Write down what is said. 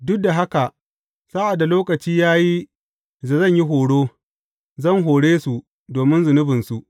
Duk da haka sa’ad da lokaci ya yi da zan yi horo, zan hore su domin zunubinsu.